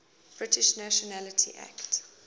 british nationality act